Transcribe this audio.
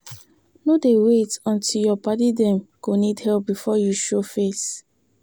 No dey wait until your paddy dem go need help before you show face.